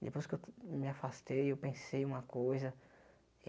Depois que eu me afastei, eu pensei uma coisa.